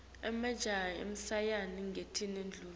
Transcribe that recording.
emajaha ashayana ngetindvuku